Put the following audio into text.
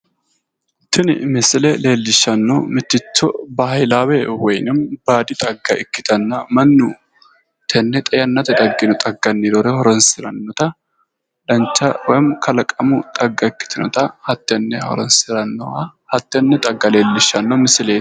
Tini misile leellishshanohu mitticho bahilaawe woymi baadi xagga ikkitanna mannu tenne xa yannate daggino xagganni roore horoonsirannota dancha woymi kalaqamu xagga ikkitinota hattenne horoonsirannoha hattenne xagga leellishshanno misileeti.